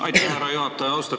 Aitäh, härra juhataja!